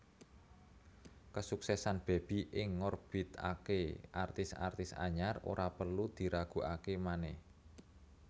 Kesuksesan Bebi ing ngorbiatké artis artis anyar ora perlu diragukaké manèh